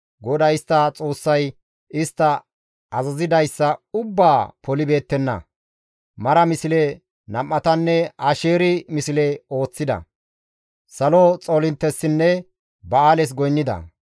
GODAY istta Xoossay istta azazidayssa ubbaa polibeettenna; mara misle nam7atanne asheeri misle ooththida. Salo xoolinttessinne ba7aales goynnida.